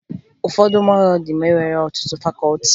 Ụfọdụ mahadum enweghi ọtụtụ fakọọti